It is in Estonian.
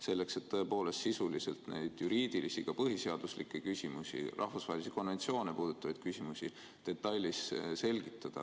Selleks, et tõepoolest sisuliselt neid juriidilisi, ka põhiseaduslikke küsimusi, rahvusvahelisi konventsioone puudutavaid küsimusi detailselt selgitada.